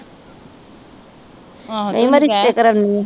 ਕਹੀ ਮੈ ਰਿਸਤੇ ਕਰਾਉਣੀ ਆ।